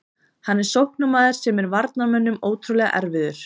Hann er sóknarmaður sem er varnarmönnum ótrúlega erfiður.